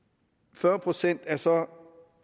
fyrre procent er så